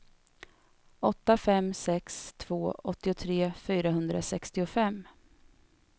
åtta fem sex två åttiotre fyrahundrasextiofem